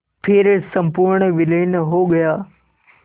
फिर संपूर्ण विलीन हो गया